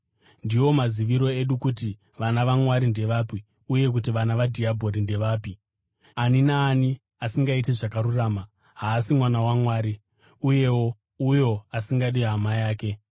Ndiwo maziviro edu kuti vana vaMwari ndevapi uye kuti vana vadhiabhori ndevapi: Ani naani asingaiti zvakarurama haasi mwana waMwari; uyewo uyo asingadi hama yake.